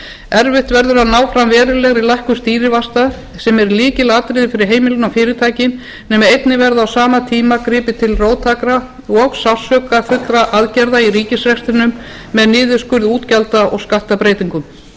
erfitt verður að ná fram verulegri lækkun stýrivaxta sem er lykilatriði fyrir heimilin og fyrirtækin nema einnig verði á sama tíma gripið til róttækra og sársaukafullra aðgerða í ríkisrekstrinum með niðurskurði útgjalda og skattbreytingum